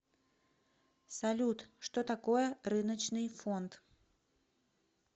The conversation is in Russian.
салют что такое рыночный фонд